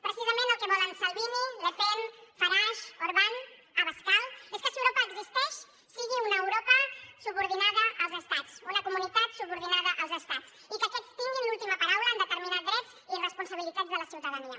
precisament el que volen salvini le pen farache orbán abascal és que si europa existeix sigui una europa subordinada als estats una comunitat subordinada als estats i que aquests tinguin l’última paraula en determinar drets i responsabilitats de la ciutadania